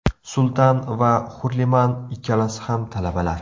Sultan va Hurliman ikkalasi ham talabalar.